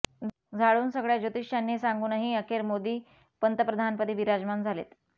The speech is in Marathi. झाडुन सगळ्या ज्योतिष्यांनी सांगुनही अखेर मोदी पंतप्रधानपदी विराजमान झालेत